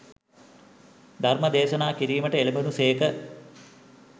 ධර්මය දේශනා කිරීමට එළැඹුණු සේක.